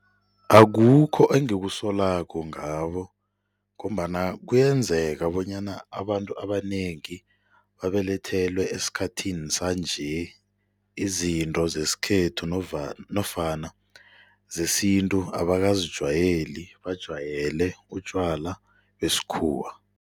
Akukho engekusolako ngabo ngombana kuyenzeka bonyana abantu abanengi babelethelwe esikhathini sanje, izinto zesikhethu nofana zesintu abangakazijwayeli bajwayele utjwala besikhuwa.